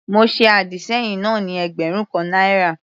Mo ṣe àdìsẹ́yìn náà ní ẹgbẹ̀rún kan náírà.